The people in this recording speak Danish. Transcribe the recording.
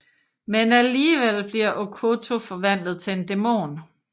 Men alligevel bliver Okkoto forvandlet til en dæmon